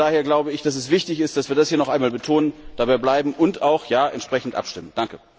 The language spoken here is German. Von daher glaube ich, dass es wichtig ist, dass wir das hier noch einmal betonen, dabei bleiben und auch entsprechend abstimmen.